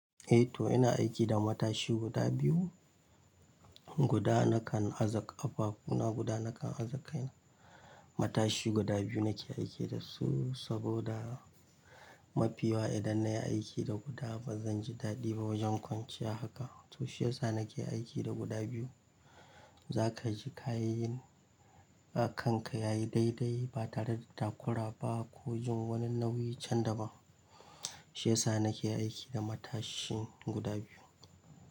Eh to ina aiki da matashi guda biyu, guda nakan aza ƙafafu na guda nakan aza kaina. Matashi guda biyu nake aiki da su saboda mafi yawa idan na yi aiki da guda ba zan ji daɗi ba wajen kwanciya haka. To shi yasa nake aiki da guda biyu. Za ka ji kayi kanka yayi daidai ba tare da takura ba ko jin wani nauyi can daban. Shi yasa nake aiki da matashi guda biyu.